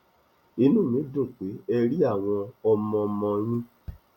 inú mi dùn pé ẹ rí àwọn ọmọọmọ yín